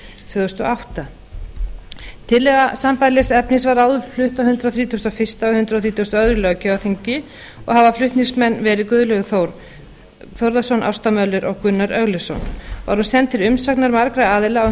og átta tillaga sambærilegs efnis var áður flutt á hundrað þrítugasta og fyrsta og hundrað þrítugasta og öðrum löggjafarþingi og hafa flutningsmenn verið guðlaugur þór þórðarson ásta möller og gunnar örlygsson var hún send til umsagnar margra aðila á